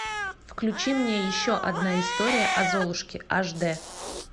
включи мне еще одна история о золушке ашдэ